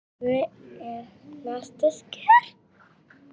Lára: Hver eru næstu skerf?